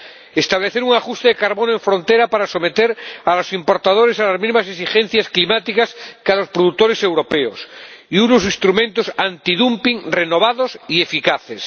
y necesitamos establecer un ajuste de carbono en frontera para someter a los importadores a las mismas exigencias climáticas que a los productores europeos y unos instrumentos antidumping renovados y eficaces.